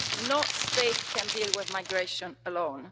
No state can deal with migration alone.